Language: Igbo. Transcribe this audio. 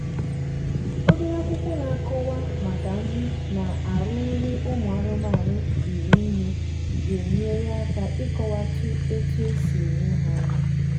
obere akwụkwọ na akọwa maka nri na arụ nri ụmụ anụmanụ riri nnega enyere aka ikọwa otu esi enye ha nri